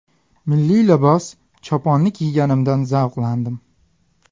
Milliy libos choponni kiyganimdan zavqlandim.